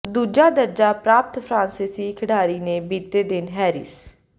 ਦੂਜਾ ਦਰਜਾ ਪ੍ਰਾਪਤ ਫਰਾਂਸੀਸੀ ਖਿਡਾਰੀ ਨੇ ਬੀਤੇ ਦਿਨ ਹੈਰਿਸ